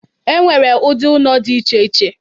E nwere ụdị ụnọ dị iche iche.